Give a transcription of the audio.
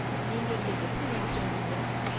நீங்க இங்க எப்படி வந்து சேந்தீங்க?